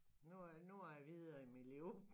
Nu er nuer jeg videre i mit liv